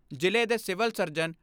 ਜ਼ਿਲ੍ਹੇ ਦੇ civil surgeon ਡਾ.